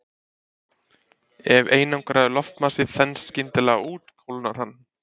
Ef einangraður loftmassi þenst skyndilega út kólnar hann.